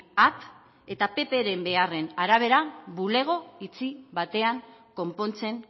at eta ppren beharren arabera bulego itxi batean konpontzen